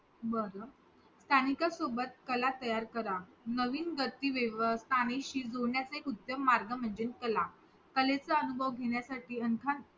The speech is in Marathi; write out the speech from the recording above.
बर स्थानिक सोबत कला तयार करा नवीन गती स्थानशी जोडण्यासाठी एक उत्तम मार्ग म्हणजे कला कलेचा अनुभव म्हणजे अख्य